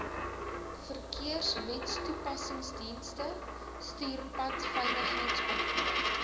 verkeerswetstoepassingsdienste stuur padveiligheidsopvoeding